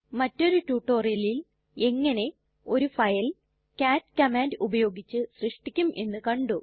മറ്റൊരു റ്റുറ്റൊരിയലിൽ എങ്ങനെ ഒരു ഫയൽ കാട്ട് കമാൻഡ് ഉപയോഗിച്ച് സൃഷ്ടിക്കും എന്ന് കണ്ടു